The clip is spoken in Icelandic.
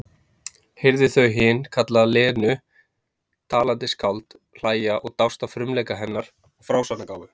Heyrði þau hin kalla Lenu talandi skáld, hlæja og dást að frumleika hennar og frásagnargáfu.